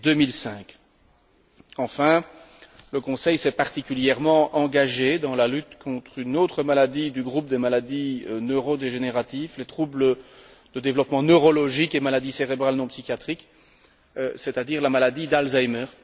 2005. Enfin, le Conseil s'est particulièrement engagé dans la lutte contre une autre maladie du groupe des maladies neurodégénératives, des troubles de développement neurologique et des maladies cérébrales non psychiatriques, c'est à dire la maladie d'Alzheimer.